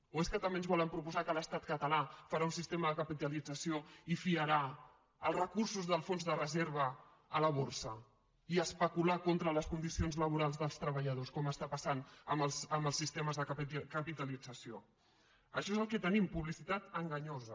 o és que també ens volen proposar que l’estat català farà un sistema de capitalització i fiarà els recursos del fons de reserva a la borsa i especular contra les condicions laborals dels treballadors com està passant amb els sistemes de capitalització això és el que tenim publicitat enganyosa